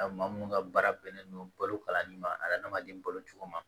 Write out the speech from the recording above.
Maa mun ka baara bɛnnen don balo kalanni ma adamaden balo cogo ma